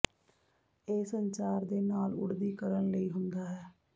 ਇਹ ਸੰਚਾਰ ਦੇ ਨਾਲ ਉੱਡਦੀ ਕਰਨ ਲਈ ਹੁੰਦਾ ਹੈ